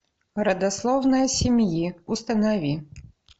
родословная семьи установи